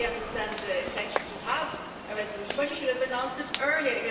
I totally understand the intention to have a resolution, but you should have announced it earlier.